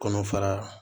Kɔnɔfara